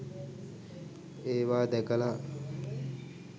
ඒවා දැකලා